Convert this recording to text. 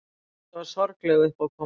Þetta var sorgleg uppákoma.